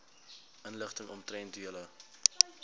inligting omtrent julle